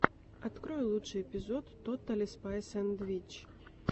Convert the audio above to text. открой лучший эпизод тоталли спайс энд витч